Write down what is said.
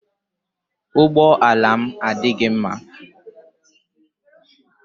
Ụgbọ ala m adịghị mma.